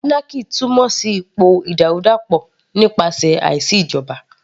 Anarchy túmọ̀ sí ipò ìdàrúdàpọ̀ nípasẹ̀ àìsí ìjọba